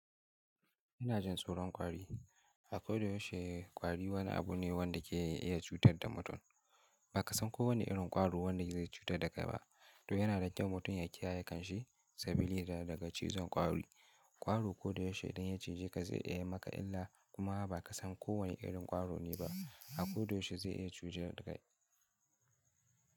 Ina jin tsoron ƙwari. A koyaushe ƙwari wani abu ne wanda ke iya cutar da mutum. Ba ka san kowane irin ƙwaro wanda zai cutar da kai ba, to yana da kyau mutum ya kiyaye kanshi sabili daga cizon kwari. Ƙwari koyaushe idan ya cije ka zai iya yi maka illa, kuma ba ka san kowane irin ƙwaro ne ba. A ko da yaushe zai iya cije da kai.